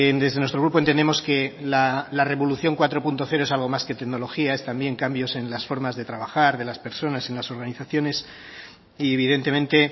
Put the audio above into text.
desde nuestro grupo entendemos que la revolución cuatro punto cero es algo más que tecnología es también cambio en las formas de trabajar de las personas en las organizaciones y evidentemente